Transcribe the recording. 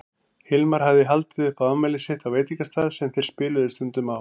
Hilmar hafði haldið upp á afmælið sitt á veitingastað sem þeir spiluðu stundum á.